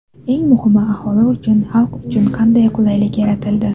Eng muhimi, aholi uchun, xalq uchun qanday qulaylik yaratildi?